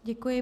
Děkuji.